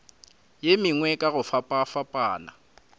ye mengwe ka go fapafapana